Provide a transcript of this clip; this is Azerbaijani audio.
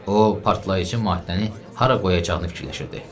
O partlayıcı maddəni hara qoyacağını fikirləşirdi.